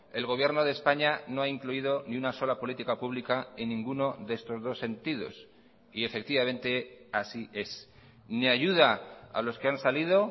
el gobierno de españa no ha incluido ni una sola política pública en ninguno de estos dos sentidos y efectivamente así es ni ayuda a los que han salido